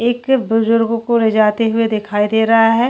एक बुज़ुर्गों को ले जाते हुए दिखाई दे रहा है।